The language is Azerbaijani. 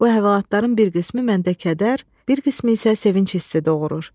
Bu əhvalatların bir qismi məndə kədər, bir qismi isə sevinc hissi doğurur.